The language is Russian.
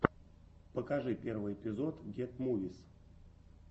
покажи первый эпизод гет мувис